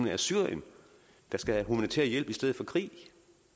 er syrien der skal have humanitær hjælp i stedet for krig